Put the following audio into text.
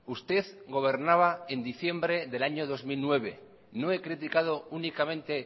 usted gobernaba en diciembre del año dos mil nueve no he criticado únicamente